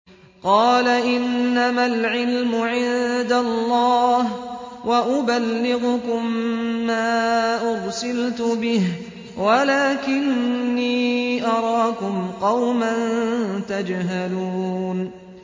قَالَ إِنَّمَا الْعِلْمُ عِندَ اللَّهِ وَأُبَلِّغُكُم مَّا أُرْسِلْتُ بِهِ وَلَٰكِنِّي أَرَاكُمْ قَوْمًا تَجْهَلُونَ